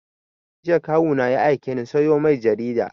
Jiya Kawu na ya aike ni sayo mai jarida